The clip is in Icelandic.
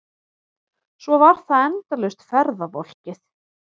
Svo var það endalaust ferðavolkið.